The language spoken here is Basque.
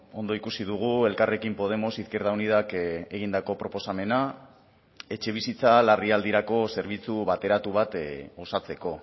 ondo ikusi dugu elkarrekin podemos izquierda unidak egindako proposamena etxebizitza larrialdirako zerbitzu bateratu bat osatzeko